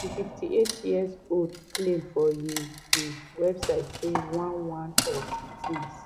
di 58 year old claim for im um website say one one of di tins